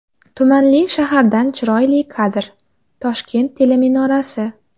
Tumanli shahardan chiroyli kadr: Toshkent teleminorasi.